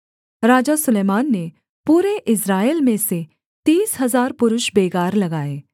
राजा सुलैमान ने पूरे इस्राएल में से तीस हजार पुरुष बेगार लगाए